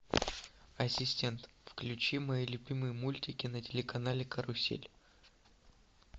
ассистент включи мои любимые мультики на телеканале карусель